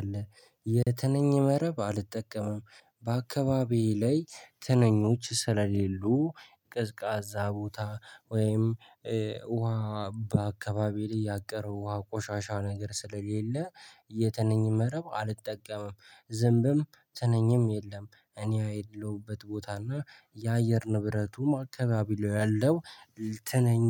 አለ የትንኝ መረብ አልጠቀመም በአካባቢዬ ላይ ትንኞች ስለሌሉ ቀዝቃዛ ቦታ ወይም ውሃ በአካባቢ ላይ ያቀረው ውሃ ቆሻሻ ነገር ስለሌለ የትነኝም መረብ አልጠቀምም። ዝምብም ተነኝም የለም። እኔ ያለሁበት ቦታ እና የአየር ንብረቱም አካባቢ ላይ ያለው ትነኝ